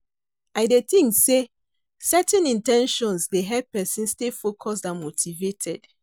I dey think say, setting in ten tions dey help pesin stay focused and motivated.